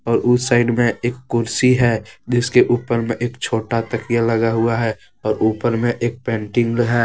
और उस साइड में एक कुर्सी है जिसके ऊपर में एक छोटा तकिया लगा हुआ है और ऊपर में एक पेंटिंग है।